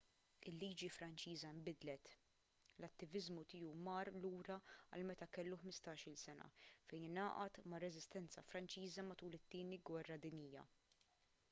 il-liġi franċiża nbidlet l-attiviżmu tiegħu mar lura għal meta kellu 15-il sena fejn ingħaqad mar-reżistenza franċiża matul it-tieni gwerra dinjija